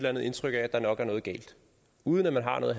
andet indtryk af at der nok er noget galt uden at man har noget